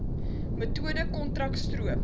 metode kontrak stroop